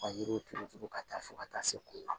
Ka yiriw turu turu ka taa fo ka taa se u ma